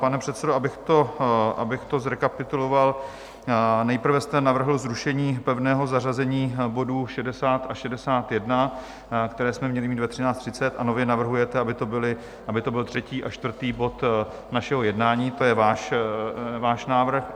Pane předsedo, abych to zrekapituloval, nejprve jste navrhl zrušení pevného zařazení bodů 60 a 61, které jsme měli mít ve 13.30, a nově navrhujete, aby to byl třetí a čtvrtý bod našeho jednání, to je váš návrh.